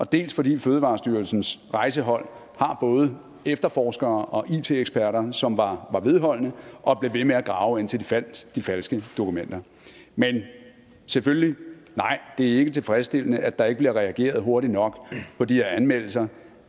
dels fordi fødevarestyrelsens rejsehold har både efterforskere og it eksperter som var vedholdende og blev ved med at grave indtil de fandt de falske dokumenter men selvfølgelig nej det er ikke tilfredsstillende at der ikke bliver reageret hurtigt nok på de her anmeldelser